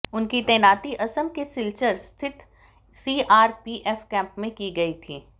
उनकी तैनाती असम के सिलचर स्थित सीआरपीएफ कैंप में की गई थी